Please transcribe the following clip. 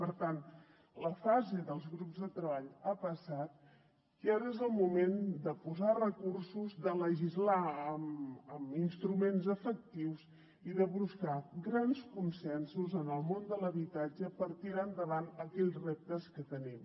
per tant la fase dels grups de treball ha passat i ara és el moment de posar recursos de legislar amb instruments efectius i de buscar grans consensos en el món de l’habitatge per tirar endavant aquells reptes que tenim